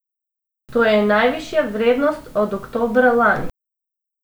To je najvišja vrednost od oktobra lani.